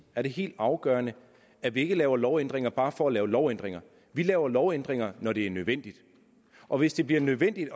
er det helt afgørende at vi ikke laver lovændringer bare for at lave lovændringer vi laver lovændringer når det er nødvendigt og hvis det bliver nødvendigt